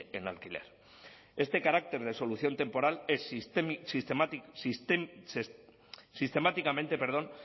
en alquiler este carácter de solución temporal es sistemáticamente